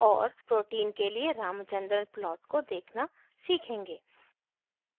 और protein के लिए ramachandran plot को देखना सीखेंगे